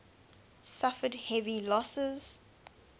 suffered heavy losses